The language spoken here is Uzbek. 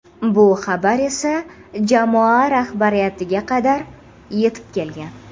Bu xabar esa jamoa rahbariyatiga qadar yetib kelgan.